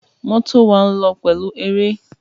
Mọ́tò wa ń lọ pẹ̀lú eré.